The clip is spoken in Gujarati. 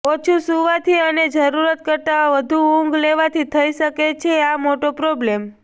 ઓછુ સુવાથી અને જરૂરત કરતા વધુ ઉંધ લેવાથી થઈ શકે છે આ મોટો પ્રોબ્લેમ